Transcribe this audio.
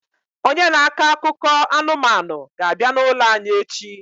Onye na-akọ akụkọ anụmanụ ga-abịa n'ụlọ anyị echi